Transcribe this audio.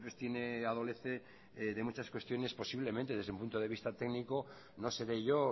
tiene adolece de muchas cuestiones posiblemente desde un punto de vista técnico no seré yo